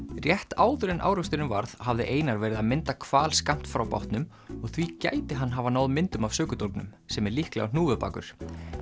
rétt áður en áreksturinn varð hafði Einar verið að mynda hval skammt frá bátnum og því gæti hann hafa náð myndum af sökudólgnum sem er líklega hnúfubakur